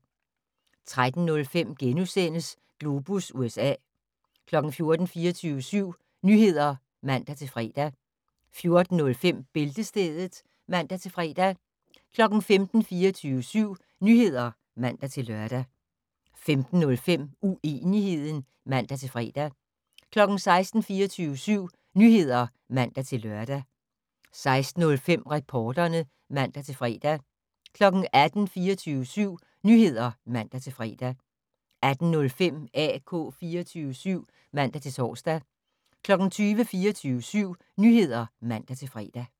13:05: Globus USA * 14:00: 24syv Nyheder (man-fre) 14:05: Bæltestedet (man-fre) 15:00: 24syv Nyheder (man-lør) 15:05: Uenigheden (man-fre) 16:00: 24syv Nyheder (man-lør) 16:05: Reporterne (man-fre) 18:00: 24syv Nyheder (man-fre) 18:05: AK 24syv (man-tor) 20:00: 24syv Nyheder (man-fre)